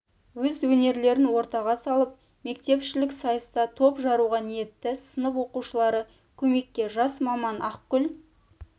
өз өнерлерін ортаға салып мектепішілік сайыста топ жаруға ниетті сынып оқушылары көмекке жас маман ақгүл